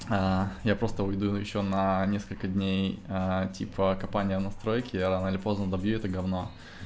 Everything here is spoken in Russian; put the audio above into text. а я просто уйду ещё на несколько дней типа компания настройки я рано или поздно добью ты говно